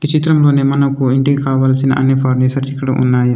ఈ చిత్రంలోని మనకు ఇంటికి కావాల్సిన అన్ని ఫర్నిచర్స్ ఇక్కడ ఉన్నాయి.